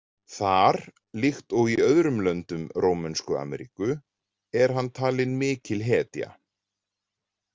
Þar, líkt og í öðrum löndum Rómönsku Ameríku, er hann talinn mikil hetja.